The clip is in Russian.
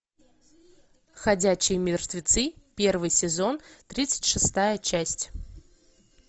ходячие мертвецы первый сезон тридцать шестая часть